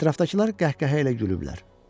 Ətrafdakılar qəhqəhə ilə gülüblər.